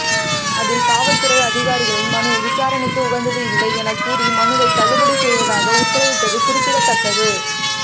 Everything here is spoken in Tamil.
அதில் காவல்துறை அதிகாரிகளின் மனு விசாரணைக்கு உகந்தது இல்லை எனக்கூறி மனுவை தள்ளுபடி செய்வதாக உத்தரவிட்டது குறிப்பிடத்தக்கது